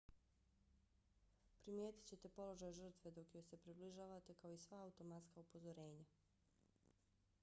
primijetit ćete položaj žrtve dok joj se približavate kao i i sva automatska upozorenja